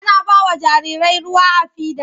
Ana ba wa jarirai ruwa a fida.